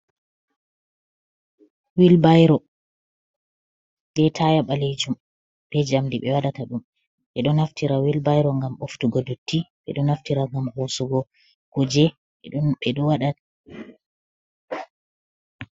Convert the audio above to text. Wilbairo ve taya ɓalejum be jamdi be wadata ɗum ɓe ɗo naftira wilbairo gam ɓoftugo dotti ɓe ɗo naftira gam hosugo kuje bedo wada.